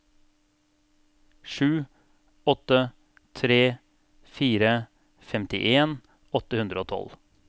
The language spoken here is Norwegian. sju åtte tre fire femtien åtte hundre og tolv